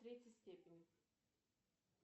в третьей степени